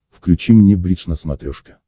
включи мне бридж на смотрешке